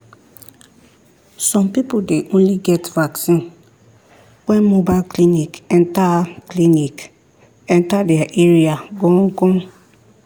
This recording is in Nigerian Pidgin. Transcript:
some people dey only get vaccine when mobile clinic enter clinic enter their area gon gon.